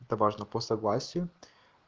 это важно по согласию